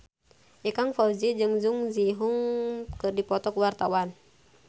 Ikang Fawzi jeung Jung Ji Hoon keur dipoto ku wartawan